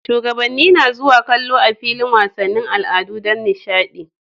Shugabanni na zuwa kallon a filin wasannin al'adu Dan dishadi